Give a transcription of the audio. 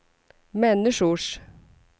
människors